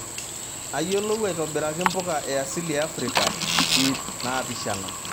Ayiolou aitobiraki mpuka e asili e Afrika, iip naapishana.